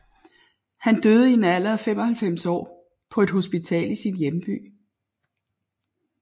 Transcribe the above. Han døde i en alder af 95 år på et hospital i sin hjemby